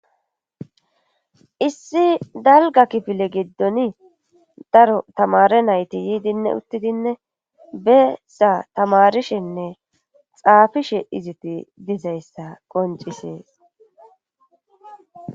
issi dalga kifile giddoni daro tamare nayti yiidinne uttidinne beessa tamarishenne xaafishe iziti dizayssa qoncisees